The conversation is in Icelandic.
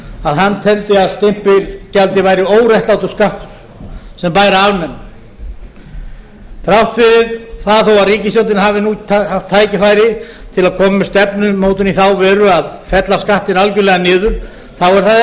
að hann teldi að stimpilgjaldið væri óréttlátur skattur sem bæri að afnema þrátt fyrir að ríkisstjórnin hafi nú haft tækifæri til að koma með stefnumótun í þá veru að fella skattinn algjörlega niður þá